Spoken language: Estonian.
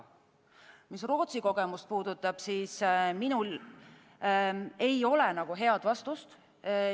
Mis puudutab Rootsi kogemust, siis minul ei ole head vastust.